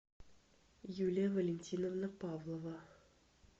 юлия валентиновна павлова